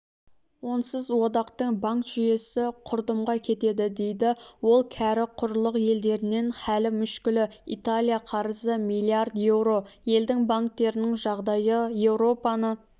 онсыз одақтың банк жүйесі құрдымға кетеді дейді ол кәрі құрлық елдерінен халі мүшкілі италия қарызы миллиард еуро елдің банктерінің жағдайы еуропаны